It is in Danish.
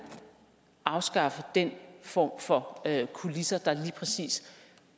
afskaffe den form for kulisser der lige præcis